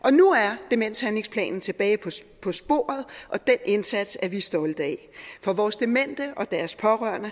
og nu er demenshandlingsplanen tilbage på sporet og den indsats er vi stolte af for vores demente og deres pårørende